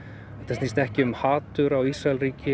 snýst ekki um hatur á Ísraelsríki